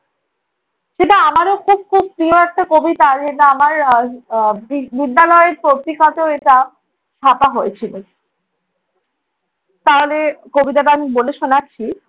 সেটা আমারও খুব~ খুব প্রিয় একটা কবিতা। আর সেটা আমার আহ আহ বি~ বিদ্যালয়ের পত্রিকাতেও এটা ছাপা হয়েছিল। তাহলে কবিতাটা আমি বলে শোনাচ্ছি।